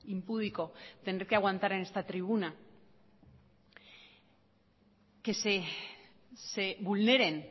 impúdico tener que aguantar en esta tribuna que se vulneren